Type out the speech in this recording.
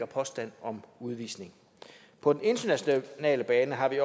påstand om udvisning på den internationale bane har vi